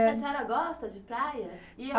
É, A senhora gosta de praia?